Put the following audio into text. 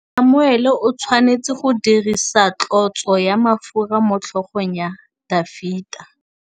Samuele o tshwanetse go dirisa tlotsô ya mafura motlhôgong ya Dafita.